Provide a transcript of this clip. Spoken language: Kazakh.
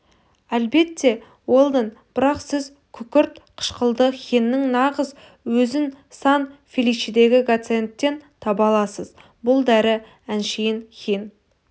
әлбетте уэлдон бірақ сіз күкірт қышқылды хинның нағыз өзін сан-феличедегі гациендтен таба аласыз бұл дәрі әншейін хин